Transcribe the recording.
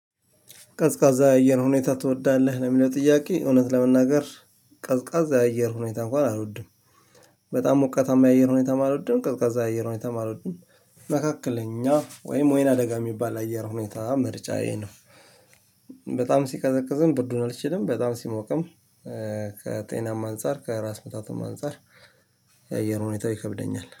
ቀዝቃዛ አየር ሁኔታ ትወዳለህ ለሚለው ጥያቄ እውነት ለመናገር ቀዝቃዛ አየር ሁኔታ እንኳን አልወድም። በጣም ሞቀታማ የአየር ሁኔታም አልወድም ቀዝቃዛ የአየር ሁኔታም አልወድም። መካከለኛ ወይም ወይን አደጋ የሚባል አየር ሁኔታ ምርጫ ይሄ ነው። በጣም ሲቀዘቅዝም ብርዱን አልችልም። በጣም ሲሞቅም ከጤናማ አንፃር ከራስ ምታቱም አንፃር። የአየር ሁኔታ ይከብደኛል